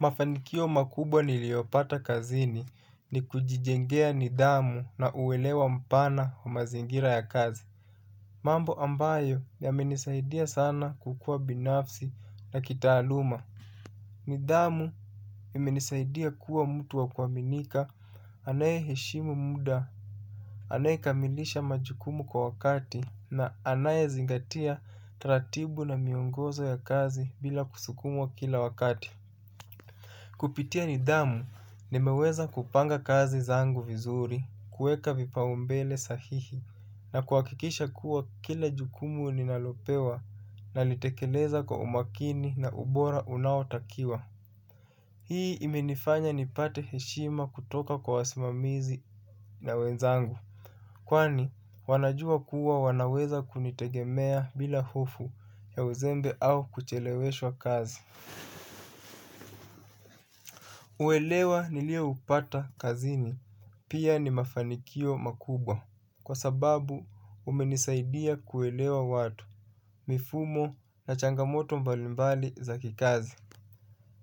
Mafanikio makubwa niliyopata kazini ni kujijengea nidhamu na uelewa mpana wa mazingira ya kazi. Mambo ambayo yamenisaidia sana kukua binafsi na kitaaluma. Nidhamu imenisaidia kuwa mtu wa kuaminika anayeheshimu muda anayekamilisha majukumu kwa wakati na anayezingatia taratibu na miongozo ya kazi bila kusukumwa kila wakati. Kupitia nidhamu nimeweza kupanga kazi zangu vizuri, kuweka vipaumbele sahihi na kuhakikisha kuwa kila jukumu ninalopewa nalitekeleza kwa umakini na ubora unaotakiwa. Hii imenifanya nipate heshima kutoka kwa wasimamizi na wenzangu, kwani wanajua kuwa wanaweza kunitegemea bila hofu ya uzembe au kucheleweshwa kazi. Uelewa nilioupata kazini, pia ni mafanikio makubwa, kwa sababu umenisaidia kuelewa watu, mifumo na changamoto mbalimbali za kikazi.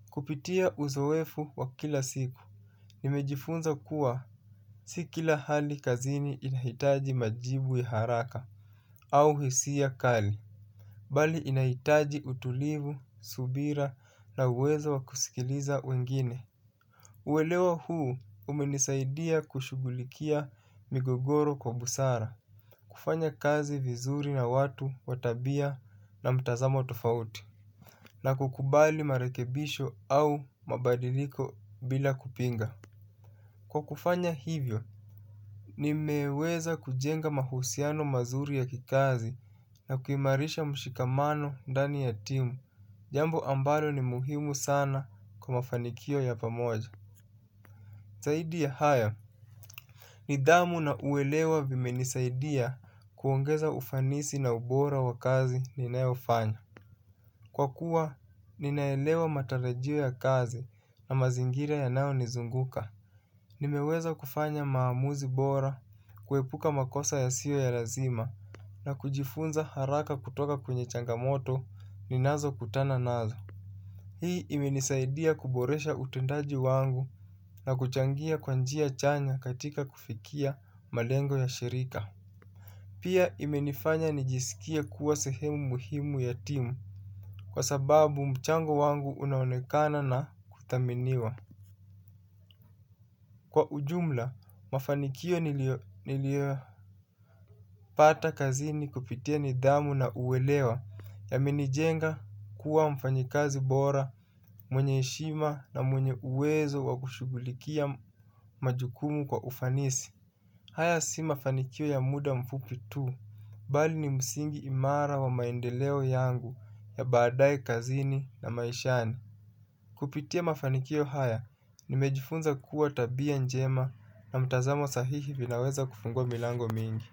Kupitia uzoefu wa kila siku, nimejifunza kuwa si kila hali kazini inahitaji majibu ya haraka au hisia kali, bali inahitaji utulivu, subira na uwezo wa kusikiliza wengine. Uelewa huu umenisaidia kushughulikia migogoro kwa busara, kufanya kazi vizuri na watu kwa tabia na mtazamo tofauti na kukubali marekebisho au mabadiliko bila kupinga. Kwa kufanya hivyo, nimeweza kujenga mahusiano mazuri ya kikazi na kuimarisha mshikamano ndani ya timu, jambo ambalo ni muhimu sana kwa mafanikio ya pamoja. Zaidi ya haya, nidhamu na uelewa vimenisaidia kuongeza ufanisi na ubora wa kazi ninayofanya. Kwa kuwa, ninaelewa matarajio ya kazi na mazingira yanayonizunguka. Nimeweza kufanya maamuzi bora, kuepuka makosa yasiyo ya lazima na kujifunza haraka kutoka kwenye changamoto ninazokutana nazo. Hii imenisaidia kuboresha utendaji wangu na kuchangia kwa njia chanya katika kufikia malengo ya shirika. Pia imenifanya nijisikie kuwa sehemu muhimu ya timu kwa sababu mchango wangu unaonekana na kuthaminiwa. Kwa ujumla, mafanikio niliyopata kazini kupitia nidhamu na uelewa yamenijenga kuwa mfanyikazi bora, mwenye heshima na mwenye uwezo wa kushughulikia majukumu kwa ufanisi. Haya si mafanikio ya muda mfupi tu, bali ni msingi imara wa maendeleo yangu ya baadae kazini na maishani. Kupitia mafanikio haya, nimejifunza kuwa tabia njema na mtazamo sahihi vinaweza kufungua milango mingi.